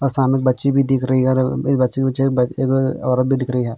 अ सामने बच्ची भी दिख रही हैं और एक बच्ची बुच्ची एक एक औरत भी दिख रही हैं।